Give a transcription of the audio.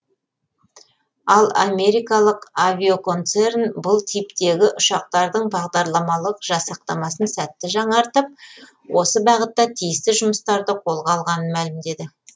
ал америкалық авиаконцерн бұл типтегі ұшақтардың бағдарламалық жасақтамасын сәтті жаңартып осы бағытта тиісті жұмыстарды қолға алғанын мәлімдеді